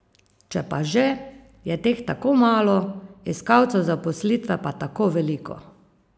Če pa že, je teh tako malo, iskalcev zaposlitve pa tako veliko.